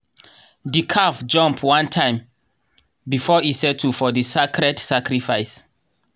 the calf jump one time before e settle for the sacred sacrifice.